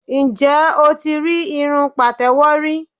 Ǹjẹ́ o ti rí irun pàtẹ́wọ́ rí?